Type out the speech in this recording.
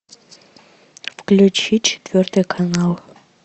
включи четвертый канал